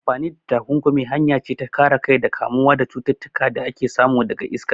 Amfani da takunkumi hanya ce ta kare kai daga kamuwa da cututtuka da ake samu daga iska.